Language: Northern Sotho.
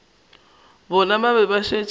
bona ba be ba šetše